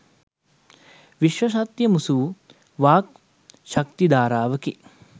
විශ්ව සත්‍යය මුසු වූ වාග් ශක්ති ධාරාවකි.